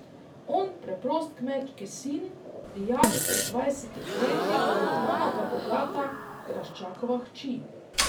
On preprost kmečki sin, dijak pri dvajsetih letih, ona pa bogata graščakova hči.